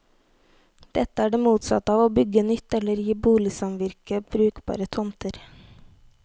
Dette er det motsatte av å bygge nytt eller gi boligsamvirket brukbare tomter.